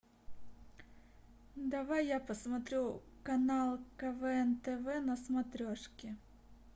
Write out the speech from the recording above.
давай я посмотрю канал квн тв на смотрешке